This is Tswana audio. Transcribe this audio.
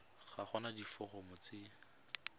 ga go na diforomo tse